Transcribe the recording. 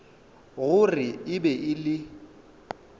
gore e be e le